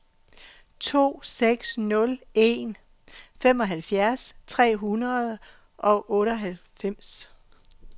to seks nul en femoghalvfjerds tre hundrede og otteoghalvfems